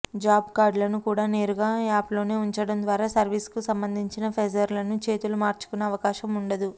job కార్డులను కూడా నేరుగా యాప్లోనే ఉంచడం ద్వారా సర్వీస్కు సంబంధించిన పేపర్లను చేతులు మార్చుకునే అవకాశం ఉండదు